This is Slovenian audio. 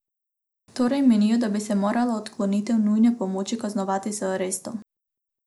Torej menijo da bi se morala odklonitev nujne pomoči kaznovati z arestom.